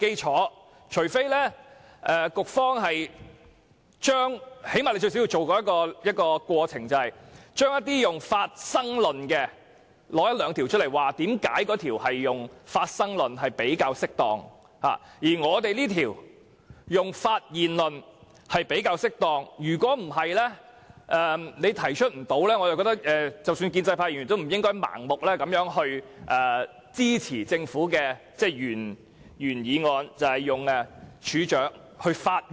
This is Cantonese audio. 除非局方提出一兩項採用"發生"論的條例，說明這些條例採用"發生"論比較適當，而《條例草案》採用"發現"論較為適當，否則即使是建制派議員也不應盲目支持政府提出的《條例草案》，以處長發現或知悉罪行的時間作為時限。